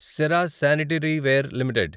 Cera sanitaryware limited